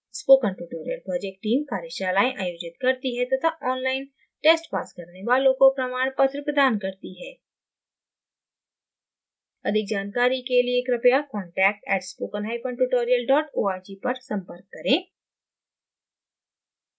spoken tutorial project teamकार्यशालाएं आयोजित करती है तथा online test pass करने वालों को प्रमाण पत्र प्रदान करती है अधिक जानकारी के लिए कृपया contact @spokentutorial org पर संपर्क करें